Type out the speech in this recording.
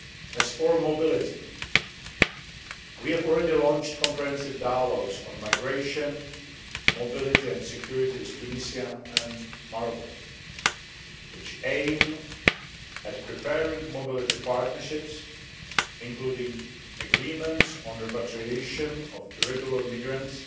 As for mobility, we have already launched comprehensive dialogues on migration, mobility and security with Tunisia and Morocco, which aim at preparing mobility partnerships, including agreements on repatriation of irregular migrants,